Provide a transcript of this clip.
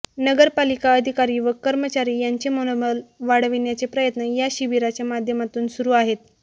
नगरपालिका अधिकारी व कर्मचारी यांचे मनोबल वाढविण्याचे प्रयत्न या शिबिराच्या माध्यमातून सुरू आहेत